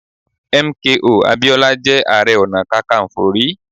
M. K. O. Abiola jẹ́ Ààrẹ Ọ̀nà Kakaǹfò rí.